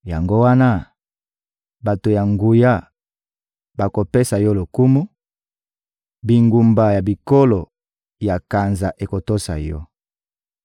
Yango wana, bato ya nguya bakopesa Yo lokumu, bingumba ya bikolo ya kanza ekotosa Yo.